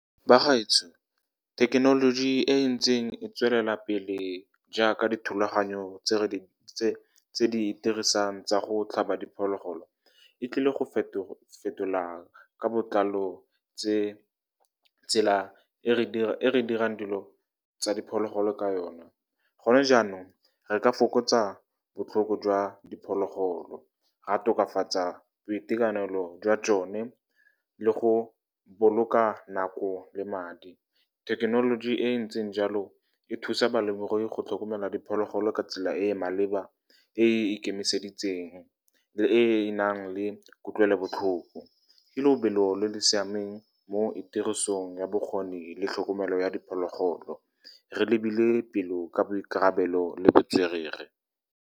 Bagaetsho, thekenoloji e e ntseng e tswelela pele, jaaka dithulaganyo tse re di dirisang tsa go tlhaba diphologolo, e tlile go fetola ka botlalo tsela e re dirang dilo tsa diphologolo ka yone. Gone jaanong, re ka fokotsa botlhoko jwa diphologolo, ra tokafatsa boitekanelo jwa tsone, le go boloka nako le madi. Thekenoloji e e ntseng jalo e thusa balemirui go tlhokomela diphologolo ka tsela e e maleba, e e ikemiseditseng, e e nang le kutlwelobotlhoko. Ke lobelo le le siameng mo tirisong ya bokgoni le tlhokomelo ya diphologolo, re lebile pele ka boikarabelo le botswerere.